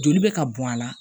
Joli bɛ ka bɔn a la